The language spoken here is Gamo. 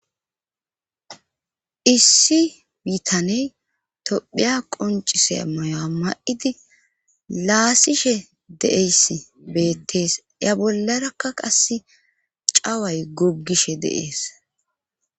Issi biitaney tophiya qoncise mayoa ma7idi laasishe de7eyss beettees ya bollarakka qase caway goggishe deees.